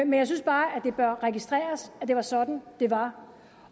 jeg synes bare at det bør registreres at det var sådan det var